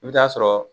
I bɛ taa sɔrɔ